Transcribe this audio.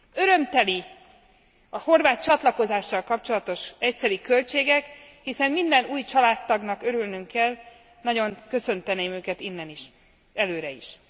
Örömteliek a horvát csatlakozással kapcsolatos egyszeri költségek, hiszen minden új családtagnak örülnünk kell nagyon köszönteném őket innen is, előre is.